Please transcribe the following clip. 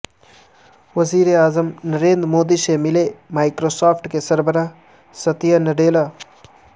وزیر اعظم نریندر مودی سے ملے مائیکروسافٹ کے سربراہ ستیا نڈیلا